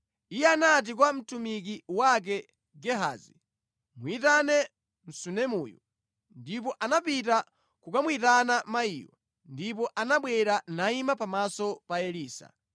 Iye anati kwa mtumiki wake Gehazi, “Muyitane Msunemuyu.” Ndipo anapita kukamuyitana mayiyo, ndipo anabwera nayima pamaso pa Elisa.